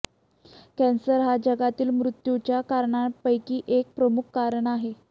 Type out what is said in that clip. cancer हा जगातील मृत्यूच्या कारणांपैकी एक प्रमुख कारण आहे